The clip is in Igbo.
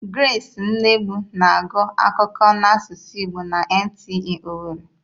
Gresị Unegbu na-agụ akụkọ n'asụsụ igbo na NTA owerri.